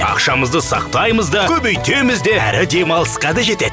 ақшамызды сақтаймыз да көбейтеміз де әрі демалысқа да жетеді